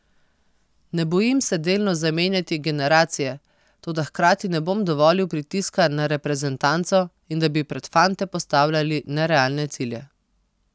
Ne bojim se delno zamenjati generacije, toda hkrati ne bom dovolil pritiska na reprezentanco in da bi pred fante postavljali nerealne cilje.